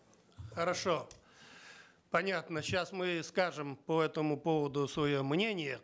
хорошо понятно сейчас мы скажем по этому поводу свое мнение